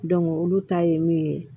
olu ta ye min ye